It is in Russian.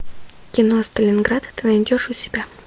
кино сталинград ты найдешь у себя